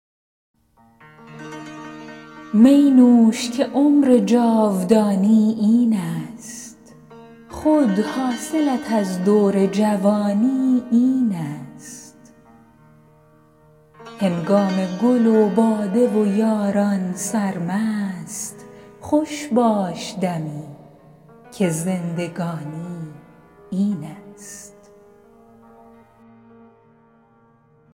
می نوش که عمر جاودانی این است خود حاصلت از دور جوانی این است هنگام گل و باده و یاران سرمست خوش باش دمی که زندگانی این است